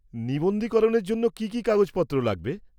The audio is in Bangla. -নিবন্ধীকরণের জন্য কী কী কাগজপত্র লাগবে?